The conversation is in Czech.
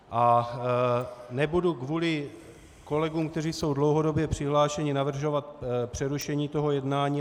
A nebudu kvůli kolegům, kteří jsou dlouhodobě přihlášeni, navrhovat přerušení toho jednání.